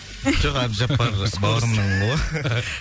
жоқ әбдіжаппар бауырымның